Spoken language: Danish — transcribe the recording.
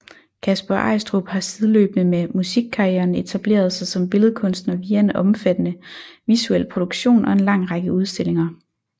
Kasper Eistrup har sideløbende med musikkarrieren etableret sig som billedkunstner via en omfattende visuel produktion og en lang række udstillinger